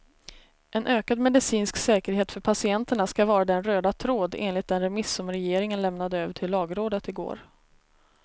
En ökad medicinsk säkerhet för patienterna ska vara den röda tråden enligt den remiss som regeringen lämnade över till lagrådet igår.